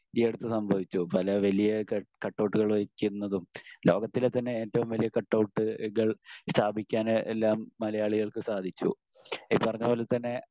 ഈ അടുത്ത് വരെ സംഭവിച്ചു. പല വലിയ കട്ടൗട്ടുകൾ വെക്കുന്നതും ലോകത്തിലെതന്നെ ഏറ്റവും വലിയ കട്ടൗട്ടുകൾ സ്‌ഥാപിക്കാൻ എല്ലാം മലയാളികൾക്ക് സാധിച്ചു. ഈ പറഞ്ഞ പോലെത്തന്നെ